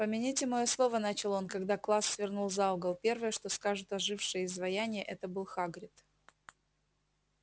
помяните моё слово начал он когда класс свернул за угол первое что скажут ожившие изваяния это был хагрид